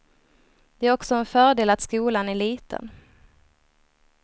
Det är också en fördel att skolan är liten.